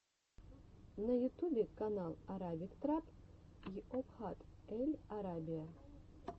на ютубе канал арабик трап йобхат эль арабия